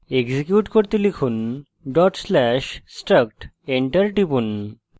execute করতে লিখুন/struct dot slash struct enter টিপুন